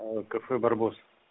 кафе барбосс